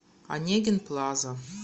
онегин плаза